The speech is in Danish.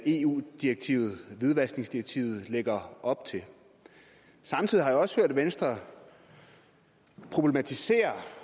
eu direktivet hvidvaskningsdirektivet lægger op til samtidig har jeg også hørt at venstre problematiserer